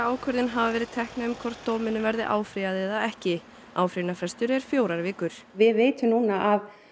ákvörðun hafa verið tekna um hvort dóminum verði áfrýjað eða ekki áfrýjunarfrestur er fjórar vikur við vitum núna að